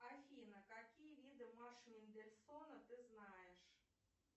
афина какие виды марш мендельсона ты знаешь